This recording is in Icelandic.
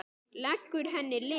Leggur henni lið.